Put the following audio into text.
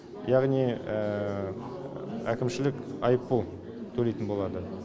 яғни әкімшілік айыппұл төлейтін болады